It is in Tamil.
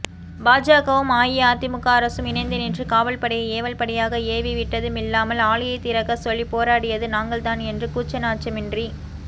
பாஜகவும் அஇஅதிமுக அரசும் இணைந்து நின்று காவல்படையை ஏவல்படையாக ஏவிவிட்டதுமில்லாமல் ஆலையைத்திறக்கச்சொல்லி போராடியது நாங்கள்தான் என்று கூச்சநாச்சமின்றி